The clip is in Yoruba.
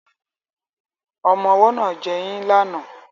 Ọmọ ọwọ́ náà ń jẹyín lánàá